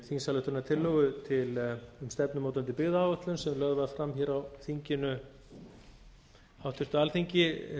þingsályktunartillögu um stefnumótandi byggðaáætlun sem lögð var fram hér á háttvirtu alþingi